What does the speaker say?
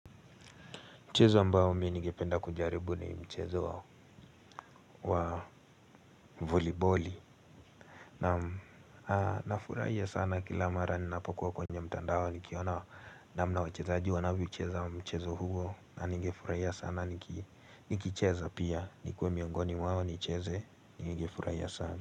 Mchezo ambao mi ningependa kujaribu ni mchezo wa voliboli. Na nafurahia sana kila mara ninapokuwa kwenye mtandao. Nikiona namna wachezaji wanavyocheza mchezo huo, na ningefurahia sana nikicheza pia, nikuwe miongoni mwao nicheze ningefurahia sana.